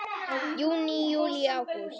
Júní Júlí Ágúst